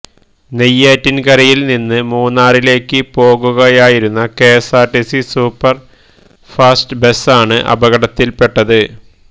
നെയ്യാറ്റിൻകരയിൽനിന്ന് മൂന്നാറിലേക്ക് പോകുകയായിരുന്ന KSRTC super fast ബസാണ് അപകടത്തിൽപ്പെട്ടത്